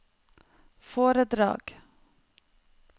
foredrag